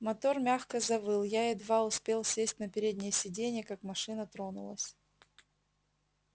мотор мягко завыл я едва успел сесть на переднее сиденье как машина тронулась